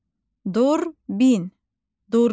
Durbin, durbin.